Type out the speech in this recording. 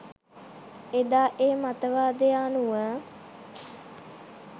එදා ඒ මතවාදය අනුව